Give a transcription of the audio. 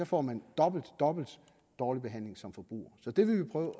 får man dobbeltdobbelt dårlig behandling som forbruger så det vil vi prøve